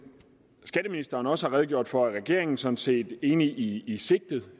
skatteministeren også har redegjort for er regeringen sådan set enig i sigtet